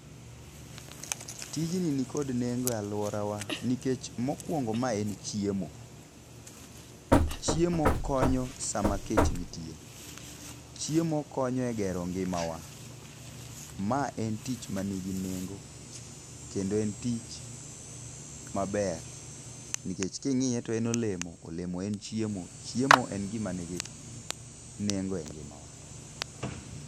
Tijni nikod nengo e alwora wa nikech mokuongo ma en chiemo. Chiemo konyo sama kech nitie. Chiemo konyo e gero ngima wa. Ma en tich ma nigi nengo kendo en tich maber nikech king'iye to en olemo, olemo en chiemo, chiemo en gima nigi nengo e ngima wa.